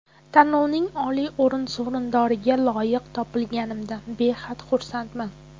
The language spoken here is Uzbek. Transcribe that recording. Tanlovning oliy o‘rin sovrindoriga loyiq topilganimdan behad xursandman.